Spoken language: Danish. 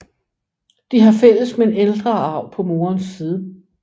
De har fælles men ældre arv på moderens side